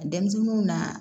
Denmisɛnninw na